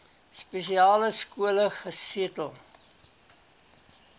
spesiale skole gesetel